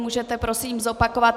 Můžete prosím zopakovat?